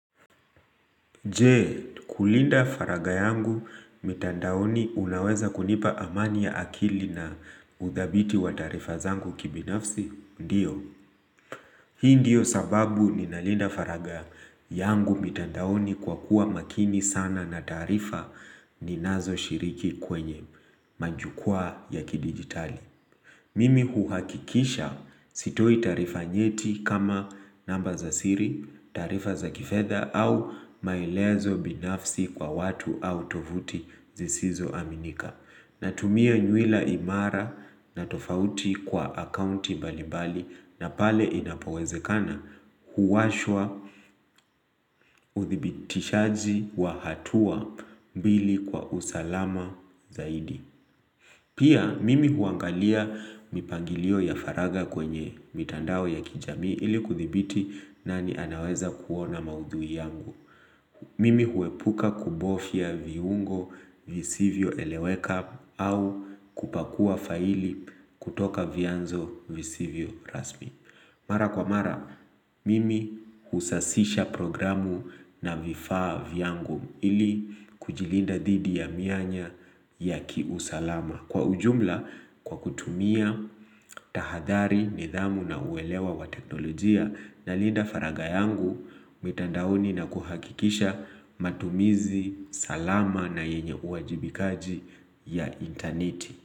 Je, kulinda faragha yangu mitandaoni unaweza kunipa amani ya akili na udhabiti wa taarifa zangu kibinafsi? Ndiyo. Hii ndiyo sababu ninalinda faragha yangu mitandaoni kwa kuwa makini sana na taarifa ninazo shiriki kwenye majukwa ya kidigitali. Mimi huhakikisha sitoi taarifa nyeti kama namba za siri, taarifa za kifedha au maelezo binafsi kwa watu au tovuti zisizo aminika. Natumia nywila imara na tofauti kwa akaunti mbalimbali na pale inapowezekana huwashwa uthibitishaji wa hatua mbili kwa usalama zaidi. Pia mimi huangalia mipangilio ya faragha kwenye mitandao ya kijamii ili kuthibiti nani anaweza kuona maudhui yangu. Mimi huepuka kubofya viungo visivyo eleweka au kupakua faili kutoka vyanzo visivyo rasmi. Mara kwa mara mimi husasisha programu na vifaa vyangu ili kujilinda dhidi ya mianya ya kiusalama. Kwa ujumla kwa kutumia, tahadhari, nidhamu na uwelewa wa teknolojia na linda faragha yangu mitandaoni na kuhakikisha matumizi, salama na yenye uwajibikaji ya interneti.